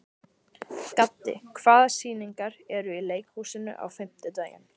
Gaddi, hvaða sýningar eru í leikhúsinu á fimmtudaginn?